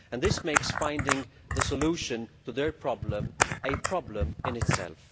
This makes finding the solution to their problem a problem in itself.